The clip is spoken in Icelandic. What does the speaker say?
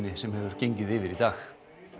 sem hefur gengið yfir í dag